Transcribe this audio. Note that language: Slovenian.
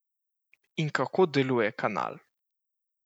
In kako deluje kanal?